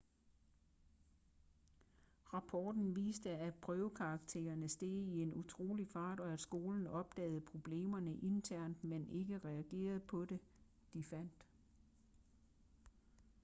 rapporten viste at prøvekaraktererne steg i en utrolig fart og at skolen opdagede problemerne internt men ikke reagerede på det de fandt